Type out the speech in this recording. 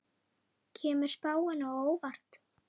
Kemur spáin á óvart?